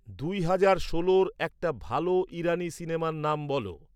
দুই হাজার ষোলোর একটা ভালো ইরানী সিনেমার নাম বলো।